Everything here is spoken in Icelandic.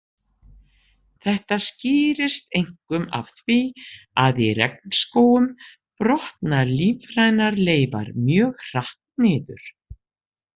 Þetta skýrist einkum af því að í regnskógum brotna lífrænar leifar mjög hratt niður.